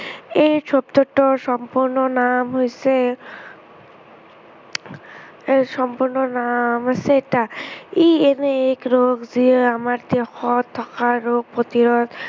aids শব্দটোৰ সম্পূৰ্ণ নাম হৈছে AIDS সম্পূৰ্ণ নাম হৈছে এটা, ই এনে এক ৰোগ, যিয়ে আমাৰ দেহত থকা ৰোগ প্ৰতিৰোধ